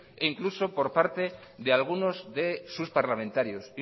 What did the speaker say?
incluso por parte de algunos de sus parlamentarios